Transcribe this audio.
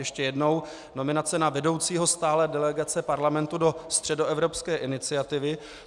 Ještě jednou: nominace na vedoucího stálé delegace Parlamentu do Středoevropské iniciativy.